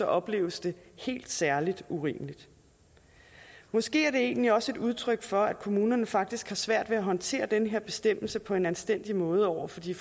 opleves det helt særlig urimeligt måske er det egentlig også et udtryk for at kommunerne faktisk har svært ved at håndtere den her bestemmelse på en anstændig måde over for de